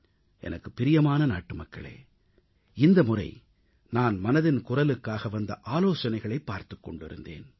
எனக்குப் பிரியமான நாட்டுமக்களே இந்தமுறை நான் மனதின் குரலுக்காக வந்த ஆலோசனைகளைப் பார்த்துக் கொண்டிருந்தேன்